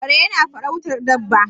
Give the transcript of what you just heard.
kare yana farautar Dabba